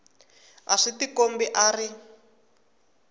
a swi tikombi a ri